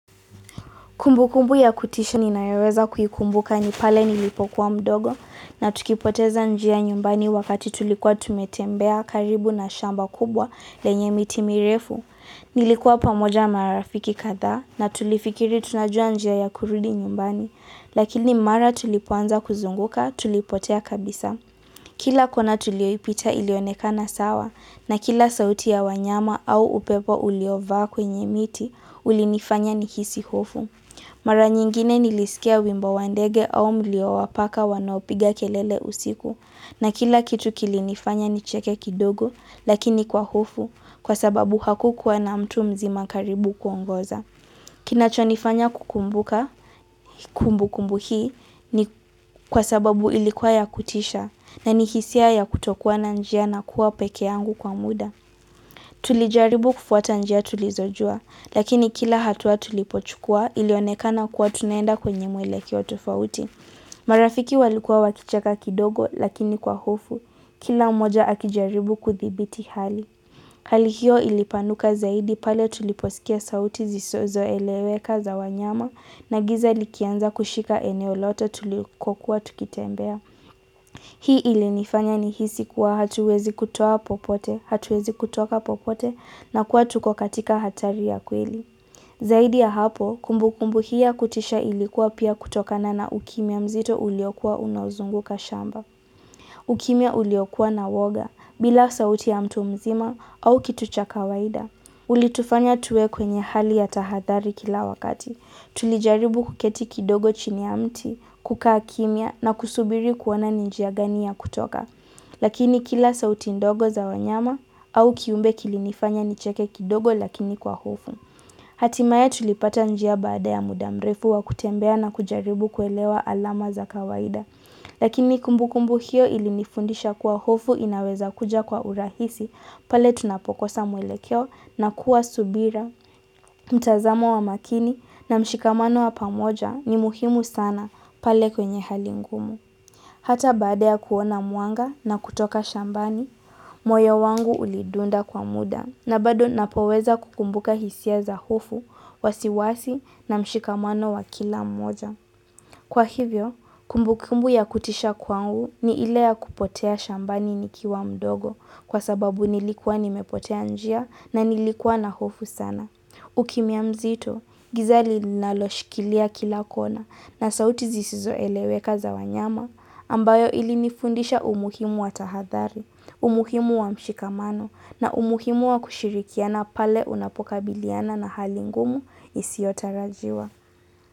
Kumbukumbu ya kutisha ninaweza kuikumbuka nipale nilipokuwa mdogo na tukipoteza njia nyumbani wakati tulikuwa tumetembea karibu na shamba kubwa lenye miti mirefu. Nilikuwa pamoja marafiki kadha na tulifikiri tunajua njia ya kurudi nyumbani, lakini mara tulipoanza kuzunguka tulipotea kabisa. Kila kona tulioipita ilionekana sawa na kila sauti ya wanyama au upepo uliova kwenye miti ulinifanya nikisi hofu. Mara nyingine nilisikia wimba wa ndege au mliowapaka wanaopiga kelele usiku na kila kitu kilinifanya nicheke kidogo lakini kwa hufu kwa sababu hakukuwa na mtu mzima karibu kuongoza. Kinacho nifanya kukumbuka kumbukumbu hii ni kwa sababu ilikuwa ya kutisha na nihisia ya kutokuwa na njia na kuwa peke yangu kwa muda. Kwenye mwele kiotofauti. Marafiki walikuwa wakichaka kidogo lakini kwa hufu. Kila moja akijaribu kuthibiti hali. Hali hiyo ilipanuka zaidi pale tuliposikia sauti zisozo eleweka za wanyama na giza ilikianza kushika eneo lote tulikuwa tukitembea. Hii ili nifanya nihisi kuwa hatuwezi kutoa popote, hatuwezi kutoka popote na kuwa tuko katika hatari ya kweli. Zaidi ya hapo, kumbukumbu hii ya kutisha ilikuwa pia kutoka na na ukimya mzito uliokua unozunguka shamba. Ukimia uliokua na woga bila sauti ya mtu mzima au kitu cha kawaida. Ulitufanya tuwe kwenye hali ya tahathari kila wakati. Tulijaribu kuketi kidogo chini ya mti, kukaa kimya na kusubiri kuona ni njia gani ya kutoka. Lakini kila sauti ndogo za wanyama au kiumbe kilinifanya nicheke kidogo lakini kwa hofu. Hatimaya tulipata njia baada ya muda mrefu wa kutembea na kujaribu kuelewa alama za kawaida. Lakini kumbukumbu hiyo ili nifundisha kuwa hufu inaweza kuja kwa urahisi pale tunapokosa mwelekeo na kuwa subira. Mtazamo wa makini na mshikamano wa pamoja ni muhimu sana pale kwenye hali ngumu. Hata baada ya kuona mwanga na kutoka shambani, moyo wangu ulidunda kwa muda. Na bado napoweza kukumbuka hisia za hufu, wasiwasi na mshikamano wa kila mmoja Kwa hivyo, kumbukumbu ya kutisha kwa huu ni ile ya kupotea shambani nikiwa mdogo Kwa sababu nilikwa nimepotea njia na nilikwa na hufu sana Ukimiamzito, gizali naloshikilia kila kona na sauti zisizo eleweka za wanyama ambayo ili nifundisha umuhimu wa tahadhari, umuhimu wa mshikamano na umuhimu wa kushirikiana pale unapoka biliana na hali ngumu isiota rajwa.